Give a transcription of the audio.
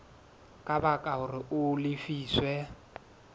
ka baka hore a lefiswe